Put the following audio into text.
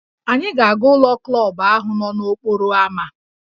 Anyị na-aga ụlọ klọb ahụ nọ n'okporo ámá